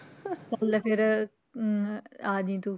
ਚੱਲ ਫਿਰ ਅਹ ਆ ਜਾਈ ਤੂੰ।